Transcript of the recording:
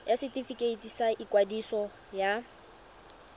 ya setefikeiti sa ikwadiso ya